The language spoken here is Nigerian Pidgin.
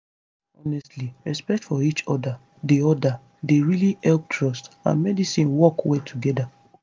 honestly respect for each other dey other dey really help trust and medicine work well together